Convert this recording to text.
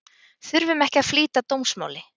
Þurfum ekki að flýta dómsmáli